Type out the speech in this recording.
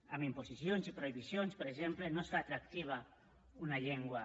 amb imposicions i prohibicions per exemple no es fa atractiva una llengua